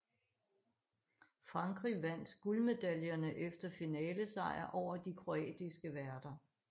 Frankrig vandt guldmedaljerne efter finalesejr over de kroatiske værter